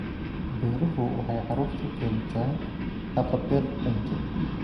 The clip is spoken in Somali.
Beeruhu waxay carruurta u keentaa haqab-beel cunto.